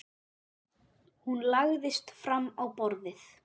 Hún lagðist fram á borðið.